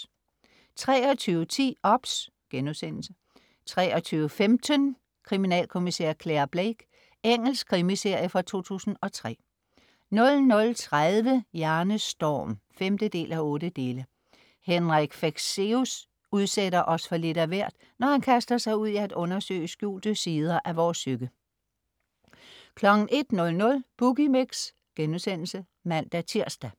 23.10 OBS* 23.15 Kriminalkommisær Clare Blake. Engelsk krimiminiserie fra 2003 00.30 Hjernestorm 5:8. Henrik Fexeus udsætter os for lidt af hvert, når han kaster sig ud i at undersøge skjulte sider af vores psyke 01.00 Boogie Mix* (man-tirs)